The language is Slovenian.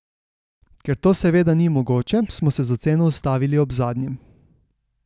Ker to seveda ni mogoče, smo se z oceno ustavili ob zadnjem.